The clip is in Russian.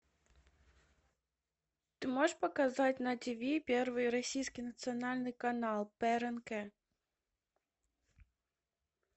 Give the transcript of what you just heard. ты можешь показать на тиви первый российский национальный канал прнк